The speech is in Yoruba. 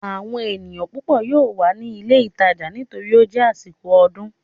Àwọn èèyàn púpọ̀ yóò wà ní ilé ìtajà nítorí ó jẹ́ àsìkò ọdún